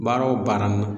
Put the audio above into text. Baara o baara n